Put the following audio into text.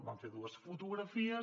vam fer dues fotografies